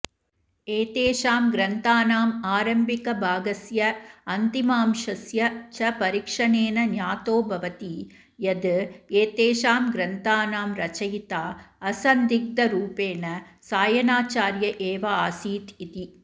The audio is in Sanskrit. एतेषां ग्रन्थानामारम्भिकभागस्य अन्तिमांशस्य च परीक्षणेन ज्ञातो भवति यद् एतेषां ग्रन्थानां रचयिता असन्दिग्धरूपेण सायणाचार्य एवासीत् इति